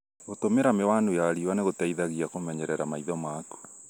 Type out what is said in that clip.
Gũtũmĩra mĩwanu ya riũa nĩ gũteithagia kũmenyerera maitho maku.